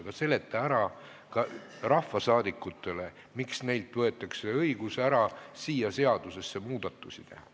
Aga seleta ära ka rahvasaadikutele, miks neilt võetakse ära õigus siia seadusesse muudatusi teha.